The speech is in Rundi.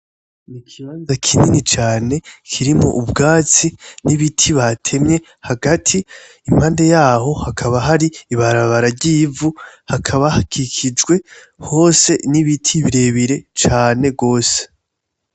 N'ikibanza kinini cane kirimwo ubwatsi n'ibiti batemye hagati impande yaho hakaba har'ibarabara ry'ivu hakaba hakikijwe hose n'ibiti birebire cane gose.